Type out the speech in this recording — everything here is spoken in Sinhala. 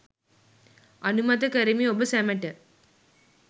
අනුමත කරමි ඔබ සැමට